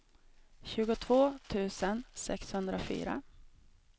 tjugotvå tusen sexhundrafyra